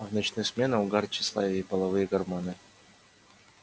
а в ночную смену угар тщеславие и половые гормоны